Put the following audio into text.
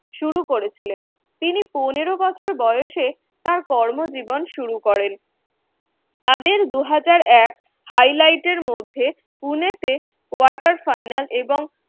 শুরু করেছিলেন। তিনি পনেরো বছর বয়সে তাঁর কর্মজীবন শুরু করেন। তাদের দু হাজার এক highlight র মধ্যে পুনেতে quarter final এবং